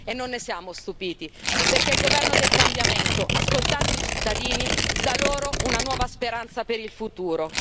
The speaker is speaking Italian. Non ne siamo stupiti, perché il governo del cambiamento, ascoltando i cittadini dà loro una nuova speranza per il futuro.